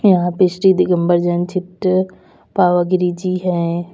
यहां पिष्टी दिगंबर जैन सिद्ध पावागिरी जी हैं।